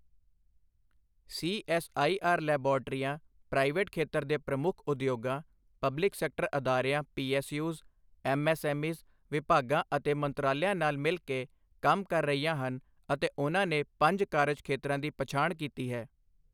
CSIR ਲੈਬਾਰਟਰੀਆਂ private ਖੇਤਰ ਦੇ ਪ੍ਰਮੁੱਖ ਉਦਯੋਗਾਂ, ਪਬਲਿਕ ਸੈਕਟਰ ਅਦਾਰਿਆਂ ਪੀਐੱਸਯੂਜ਼, ਐੱਮਐੱਸਐੱਮਈਜ਼, ਵਿਭਾਗਾਂ ਅਤੇ ਮੰਤਰਾਲਿਆਂ ਨਾਲ ਮਿਲ ਕੇ ਕੰਮ ਕਰ ਰਹੀਆਂ ਹਨ ਅਤੇ ਉਨ੍ਹਾਂ ਨੇ ਪੰਜ ਕਾਰਜ ਖੇਤਰਾਂ ਦੀ ਪਛਾਣ ਕੀਤੀ ਹੈ